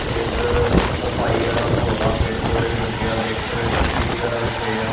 ਤੇ ਇਧਰ ਸਫਾਈ ਵਾਲਾ ਮਾਹੌਲ ਆ ਪੇੜ ਪੋਦੇ ਵੀ ਲੱਗੇ ਆ ਦੇਖ ਸਕਦੇ ਡਸਟਬੀਨ ਵਗੈਰਾ ਵੀ ਪਏ ਆ।